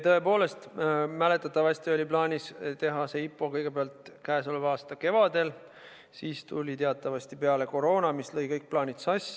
Tõepoolest, mäletatavasti oli plaanis teha see IPO kõigepealt käesoleva aasta kevadel, siis aga tuli teatavasti peale koroona, mis lõi kõik plaanid sassi.